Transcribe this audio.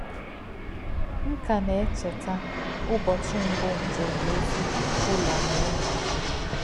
M̀ ka na-echeta Ụ́bọ́chì mbù m jèrè ozi Ụ́lọ̀ n’Ụ́lọ̀.